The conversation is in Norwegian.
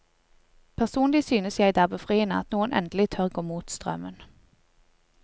Personlig synes jeg det er befriende at noen endelig tør gå mot strømmen.